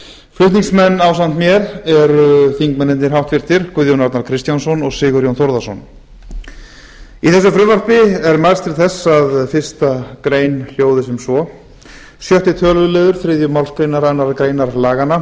flutningsmenn ásamt mér eru háttvirtir þingmenn guðjón arnar kristjánsson og sigurjón þórðarson í þessu frumvarpi er mælst til þess að fyrstu grein hljóði sem svo sjötti töluliður þriðju málsgrein annarrar greinar laganna það er